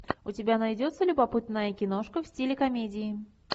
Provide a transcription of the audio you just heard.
у тебя найдется любопытная киношка в стиле комедии